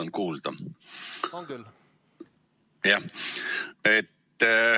Ma loodan, et mind on kuulda.